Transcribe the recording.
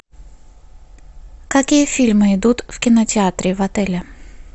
какие фильмы идут в кинотеатре в отеле